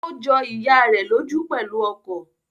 Ó jọ ìyá rẹ̀ lójú pẹ̀lú ọkọ̀